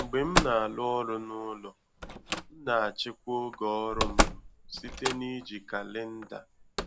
Mgbe m na-arụ ọrụ n'ụlọ, m na-achịkwa ògè ọrụ m site n'iji kalenda